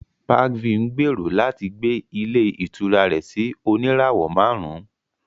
Parkview ń gbèrò láti gbé ilé ìtura rẹ̀ sí oníràwọ̀ márùn-ún